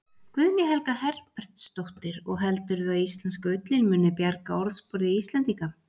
Guðný Helga Herbertsdóttir: Og heldurðu að íslenska ullin muni bjarga orðspori Íslendinga?